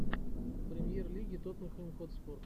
премьер лиги тоттенхэм хотспур